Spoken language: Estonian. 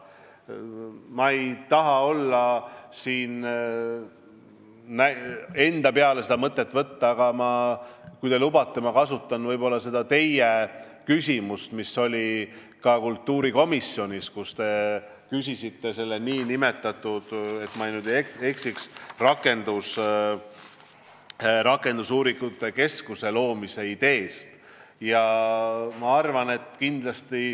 Ma ei taha enda peale seda mõtet võtta, aga kui te lubate, siis ma kasutan seda teie küsimust, mis oli ka kultuurikomisjonis, kus te küsisite selle nn rakendusuuringute keskuse loomise idee kohta.